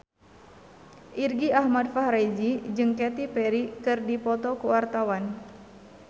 Irgi Ahmad Fahrezi jeung Katy Perry keur dipoto ku wartawan